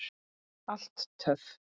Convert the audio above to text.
Alltaf töff.